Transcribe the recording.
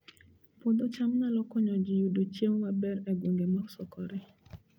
Puodho cham nyalo konyo ji yudo chiemo maber e gwenge mosokore